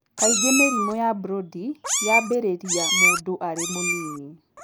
Kaingĩ mĩrimũ ya Brody yambĩrĩria mũndũ arĩ mũnini.